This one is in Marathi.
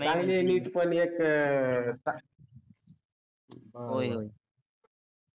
चांगली आहे NEET पन एक अं